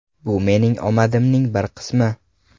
Bu mening omadimning bir qismi.